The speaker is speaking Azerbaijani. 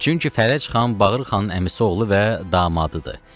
Çünki Fərəc xan Bağırxanın əmisi oğlu və damadıdır.